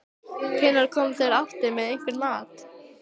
Hvenær koma þeir aftur með einhvern mat?